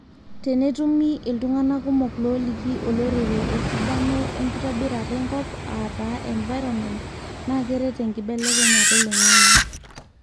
tenetumi iltungana kumok looliki olorere esidano enkitobirata enkop aata environment na keret enkinbbelekenyata oloingange